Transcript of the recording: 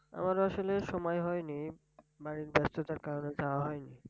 আমার আসলে সময় হয়নি মানে ব্যস্ততার কারনে যাওয়া হয়নি।